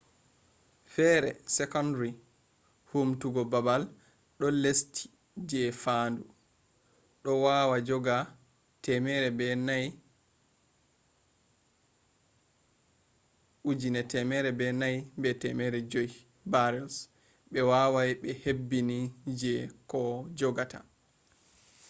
fere secondary humtugo babal do lesti je fandu do wawa joga 104,500 barrels be wawai be hebbini je koh jogata